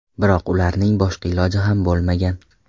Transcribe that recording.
Biroq ularning boshqa iloji ham bo‘lmagan.